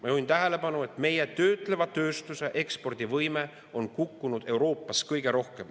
Ma juhin tähelepanu, et meie töötleva tööstuse ekspordivõime on kukkunud Euroopas kõige rohkem.